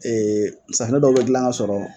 safunɛ dɔw bɛ gilan ka sɔrɔ